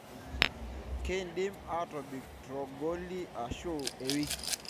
kindim atobik tongoli ashu iwiki.